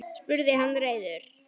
spurði hann reiður.